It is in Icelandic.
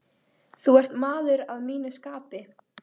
Þú ert maður að mínu skapi.